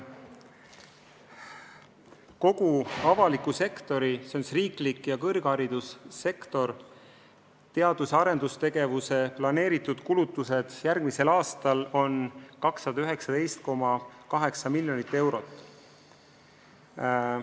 Kogu avaliku sektori, s.o siis riikliku ja kõrgharidussüsteemi teadus- ja arendustegevuseks plaanitud kulutused järgmisel aastal on 219,8 miljonit eurot.